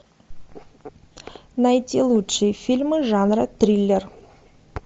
найти лучшие фильмы жанра триллер